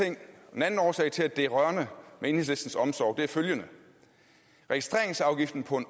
den anden årsag til at det er rørende med enhedslistens omsorg er følgende registreringsafgiften på en